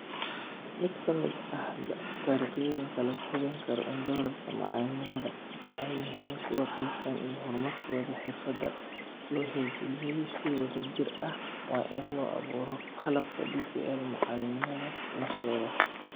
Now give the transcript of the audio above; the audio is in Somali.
Mid ka mid ah dariiqooyinka lagu hubin karo in doorarka macallimiinta ay yihiin kuwo qaabaysan, iyo horumarkooda xirfadeed loo hirgeliyay si wadajir ah, waa in la abuuro qalabka DPL macalimiinta laftooda.